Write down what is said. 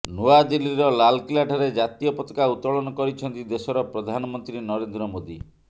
ନୂଆଦିଲ୍ଲୀର ଲାଲକିଲ୍ଲାଠାରେ ଜାତୀୟ ପତାକା ଉତ୍ତୋଳନ କରିଛନ୍ତି ଦେଶର ପ୍ରଧାନମନ୍ତ୍ରୀ ନରେନ୍ଦ୍ର ମୋଦି